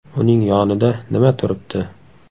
Uning yonida nima turibdi?”.